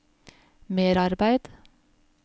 merarbeid